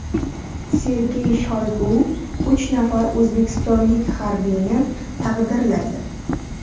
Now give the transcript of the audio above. Sergey Shoygu uch nafar o‘zbekistonlik harbiyni taqdirladi .